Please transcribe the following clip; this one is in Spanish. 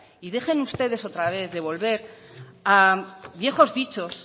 y dejen ustedes otra vez de volver a viejos dichos